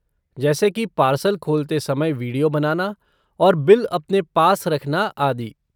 जैसे कि पार्सल खोलते समय विडियो बनाना और बिल अपने पास रखना, आदि।